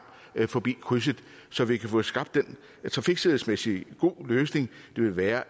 forbi krydset så vi kan få skabt den trafiksikkerhedsmæssige gode løsning det vil være